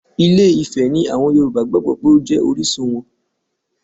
Ilé Ifẹ̀ ni àwọn Yorùbá gbàgbó wípé ó jẹ́ orísun wọn.